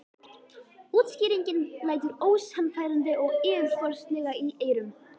Útskýringin lætur ósannfærandi og yfirborðslega í eyrum.